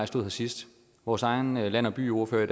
stod har sidst vores egen land og byordfører